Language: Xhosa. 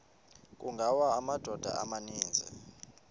kungawa amadoda amaninzi